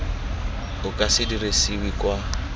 o ka se dirisiwe kwa